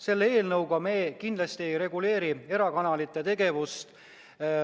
Selle eelnõuga me kindlasti ei reguleeri erakanalite tegevust.